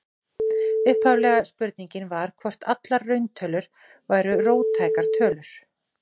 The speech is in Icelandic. Upphaflega spurningin var hvort allar rauntölur væru róttækar tölur.